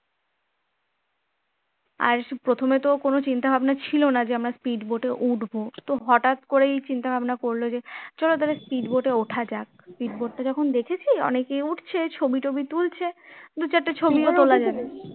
আর প্রথমে তো কোন চিন্তা ভাবনা ছিল না যে আমরা speed boat এ উঠবো তো হঠাৎ করেই চিন্তা ভাবনা করলো যে চল তাহলে speed boat এ ওঠা যাক speed boat টা যখন দেখেছি অনেকে উঠছে ছবি টবি তুলছে দুচারটে ছবিও তোলা যাবে